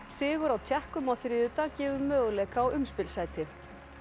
sigur á Tékkum á þriðjudag gefur möguleika á umspilssæti